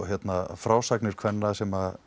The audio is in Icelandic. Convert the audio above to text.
frásagnir kvenna sem